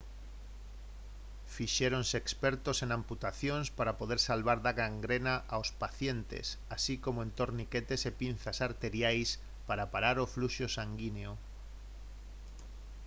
fixéronse expertos en amputacións para poder salvar da gangrena aos pacientes así como en torniquetes e pinzas arteriais para parar o fluxo sanguíneo